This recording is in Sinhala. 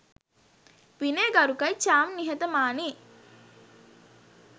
විනය ගරුකයි චාම් නිහතමානියි